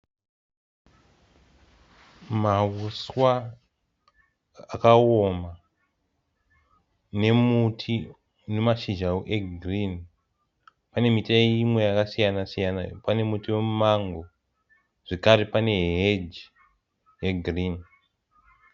Mauswa akaoma nemuti une mashizha egirini pane miti imwe yakasiyana siyana pane muti wemumango zvakare pane heji yegirini.